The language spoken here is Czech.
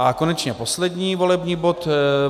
A konečně poslední volební bod.